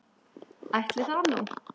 Ætli það nú.